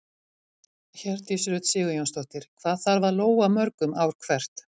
Hjördís Rut Sigurjónsdóttir: Hvað þarf að lóga mörgum ár hvert?